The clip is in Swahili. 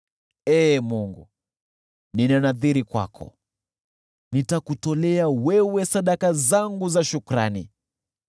Ee Mungu, nina nadhiri kwako, nitakutolea wewe sadaka zangu za shukrani.